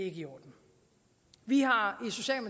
i orden vi har